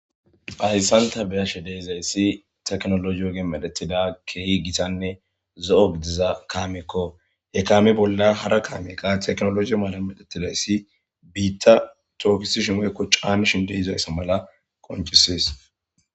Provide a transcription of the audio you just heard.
Haysan ta beyashe deezayssi teknolo yiyoge medetida keehi gitanne zo7o gidiza kaamikko he kami bolla hara kaamiqa teknologi maalan medettidayssi biitta toofisi shimoykko caani shinde izayssa mala qoncisies